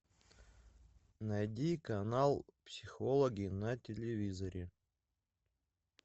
найди канал психологи на телевизоре